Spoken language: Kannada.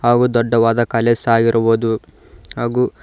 ಹಾಗು ದೊಡ್ಡವಾದ ಕಾಲೇಜ್ ಸಹ ಇರುವುದು ಹಾಗು--